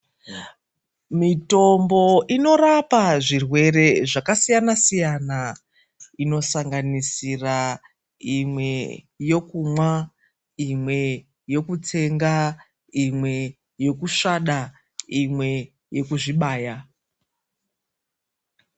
Mitombo inorapa zvirwere zvakasiyana-siyana, inosanganisira imwe yekumwa, imwe yokutsenga, imwe yekusvada, imwe yekuzvibaya.